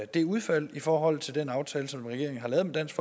det udfald i forhold til den aftale som regeringen har lavet med dansk